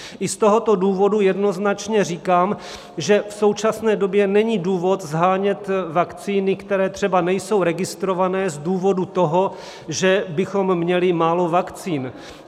I z tohoto důvodu jednoznačně říkám, že v současné době není důvod shánět vakcíny, které třeba nejsou registrované, z důvodu toho, že bychom měli málo vakcín.